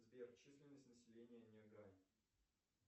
сбер численность населения нягань